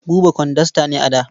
Buba kwandasta ne a da.